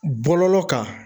Bɔlɔlɔ kan.